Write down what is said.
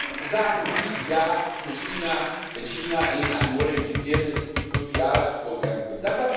Wann sagen Sie Ja zu China, wenn China Ihnen ein modifiziertes Fünfjahresprogramm vorlegt?